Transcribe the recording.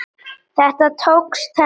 Þetta tókst henni.